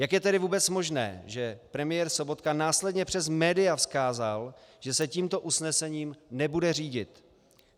Jak je tedy vůbec možné, že premiér Sobotka následně přes média vzkázal, že se tímto usnesením nebude řídit?